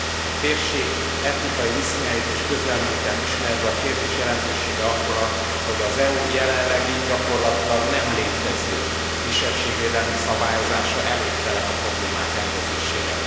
A térség etnikai viszonyait és közelmúltját ismerve a kérdés jelentősége akkor, hogy az EU jelenlegi, gyakorlatilag nem létező kisebbségvédelmi szabályozása elégtelen a problémák rendezésére.